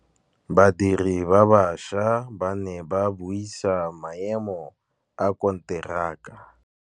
Badiri ba baša ba ne ba buisa maêmô a konteraka.